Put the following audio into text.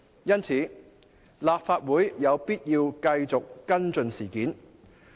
因此，立法會有必要繼續跟進事件。